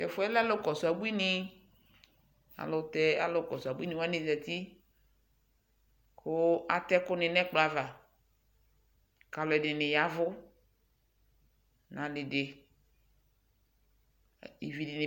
Tɛɛfuɛlɛ alu kɔsu abuini kuu atɛɛku nɛkplɔava aluɛdini yavu